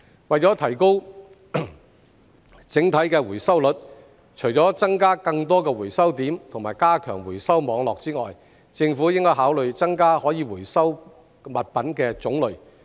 為了提高整體的回收率，除了增加更多回收點及加強回收網絡之外，政府亦應考慮增加可回收物品的種類。